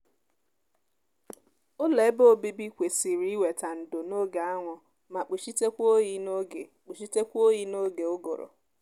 ụlọ ebe obibi kwesịrị iweta ndo n'oge anwụ mae kpuchitekwa oyi n'oge kpuchitekwa oyi n'oge ụgụrụ